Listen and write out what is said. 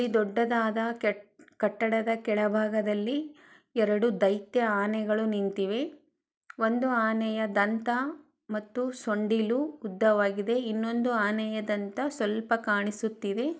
ಇದು ದೊಡ್ಡದಾದ ಕಟ್ಟ ಕಟ್ಟಡದ ಕೆಳಭಾಗದಲ್ಲಿ ಎರಡು ಧೈತ್ಯ ಆನೆಗಳು ನಿಂತಿವೆ ಒಂದು ಆನೆಯ ದಂತ ಮತ್ತು ಸೊಂಡಿಲು ಉದ್ದವಾಗಿದೆ ಇನ್ನೊಂದು ಆನೆಯ ದಂತ ಸ್ವಲ್ಪ ಕಾಣಿಸುತ್ತಿದೆ.